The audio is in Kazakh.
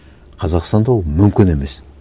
қазақстанда ол мүмкін емес